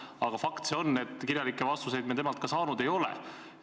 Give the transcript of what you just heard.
Aga fakt on ka see, et kirjalikke vastuseid me temalt saanud ei ole.